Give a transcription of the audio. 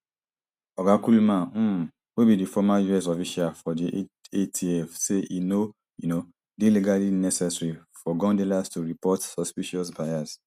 oga kullman um wey be di former us official for di atf say e no um dey legally necessary for gun dealers to report suspicious buyers